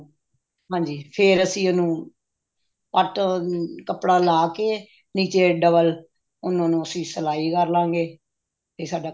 ਹਾਂਜੀ ਫ਼ੇਰ ਅਸੀਂ ਉਹਨੂੰ ਪੱਟ ਕੱਪੜਾ ਲਾ ਕੇ ਨੀਚੇ double ਉਹਨਾ ਨੂੰ ਅਸੀਂ ਸਲਾਈ ਕਰ ਲਵਾਂਗੇ ਇਹ ਸਾਡਾ